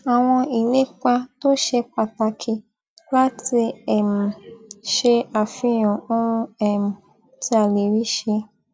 àwọn ìlépa tó ṣe pàtàkì láti um ṣe àfihàn ohun um tí a lè rí ṣe